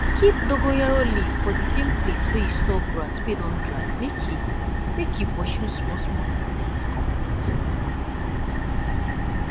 keep dogonyaro leaf for de same place wey you store grass wey don dry make e make e pursue smol smol insects comot